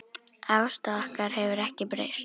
Afstaða okkar hefur ekki breyst.